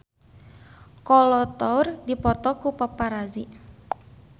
Kolo Taure dipoto ku paparazi